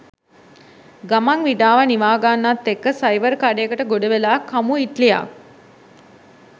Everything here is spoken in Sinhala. ගමන් විඩාව නිවාගන්නත් එක්ක සයිවර් කඩයකට ගොඩවෙලා කමු ඉට්ලියක්.